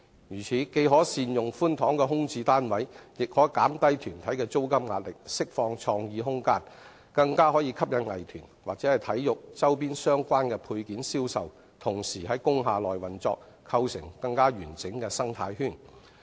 如此，既可善用寬敞的空置單位，亦可減低團體的租金壓力、釋放創意空間，更可吸引藝團或體育周邊相關的配件銷售同時在工廈內運作，構成更完整的生態圈。